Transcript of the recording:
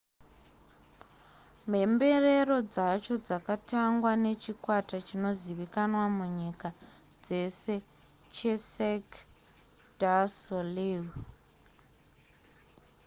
mhemberero dzacho dzakatangwa nechikwata chinozivikanwa munyika dzese checirque du soleil